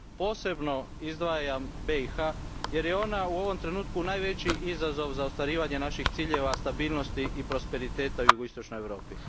Posebno izdvajam BiH jer je ona u ovom trenutku najveći izazov za ostvarivanje naših ciljeva stabilnosti i prosperiteta u jugoistočnoj Europi.